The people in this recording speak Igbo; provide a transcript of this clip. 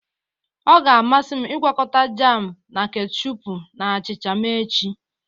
Ọ ga-amasị m ịgwakọta jam na ketchupu na achịcha m echi